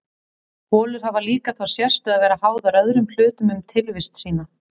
Holur hafa líka þá sérstöðu að vera háðar öðrum hlutum um tilvist sína.